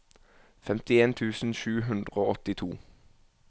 femtien tusen sju hundre og åttito